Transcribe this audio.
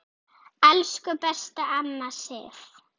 Elsku besta amma Sif.